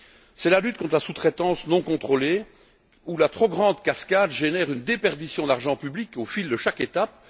C'est la lutte contre la sous traitance non contrôlée où la trop grande cascade génère une déperdition d'argent public au fil de chaque étape.